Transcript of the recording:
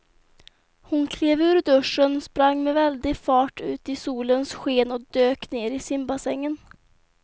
Hon klev ur duschen, sprang med väldig fart ut i solens sken och dök ner i simbassängen.